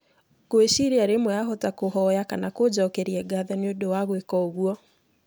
Ngwĩciria rĩmwe ahota kũhoya kana kũnjokeria ngatho nĩ ũndũ wa gwĩka ũguo.